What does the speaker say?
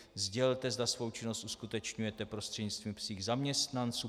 Sdělte, zda svou činnost uskutečňujete prostřednictvím svých zaměstnanců.